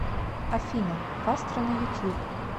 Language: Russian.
афина кастро на ютьюб